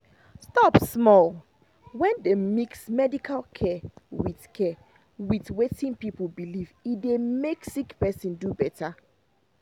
stop small — when dem mix medical care with care with wetin people believe e dey make sick person do better.